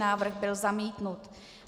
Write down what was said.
Návrh byl zamítnut.